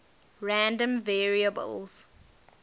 random variables